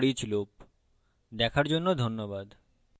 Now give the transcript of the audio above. এটি foreach loop দেখার জন্য ধন্যবাদ